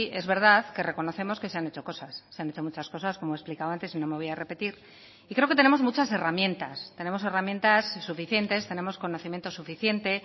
es verdad que reconocemos que se han hecho cosas se han hecho muchas cosas como he explicado antes y no me voy a repetir y creo que tenemos muchas herramientas tenemos herramientas suficientes tenemos conocimiento suficiente